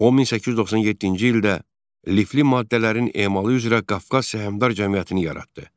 O 1897-ci ildə lifli maddələrin emalı üzrə Qafqaz səhmdar cəmiyyətini yaratdı.